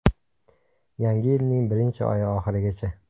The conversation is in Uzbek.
Yangi yilning birinchi oyi oxirigacha!